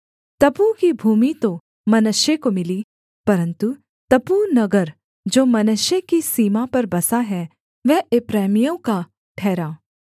तप्पूह की भूमि तो मनश्शे को मिली परन्तु तप्पूह नगर जो मनश्शे की सीमा पर बसा है वह एप्रैमियों का ठहरा